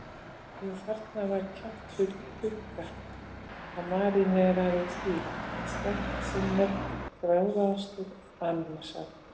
Jú, þarna var kjaftfull krukka af maríneraðri síld, sterkt sinnep, gráðaostur, ananassafi.